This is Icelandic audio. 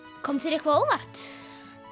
kom þér eitthvað á óvart